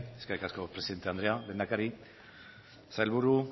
eskerrik asko presidente andrea lehendakari sailburu